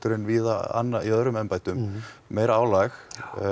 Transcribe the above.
en víða annarsstaðar í öðrum embættum meira álag